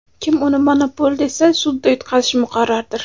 Kim uni monopol desa, sudda yutqazishi muqarrardir.